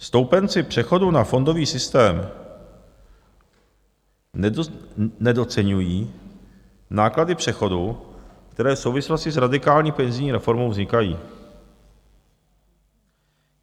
Stoupenci přechodu na fondový systém nedoceňují náklady přechodu, které v souvislosti s radikální penzijní reformou vznikají.